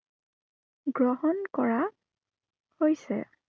গ্ৰহণ কৰা, হৈছে।